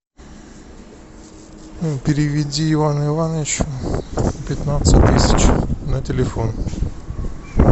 переведи ивану ивановичу пятнадцать тысяч на телефон